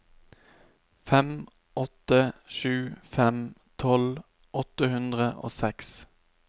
fem åtte sju fem tolv åtte hundre og seks